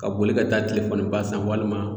Ka boli ka taa telefɔniba san walima